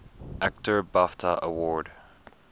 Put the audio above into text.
actor bafta award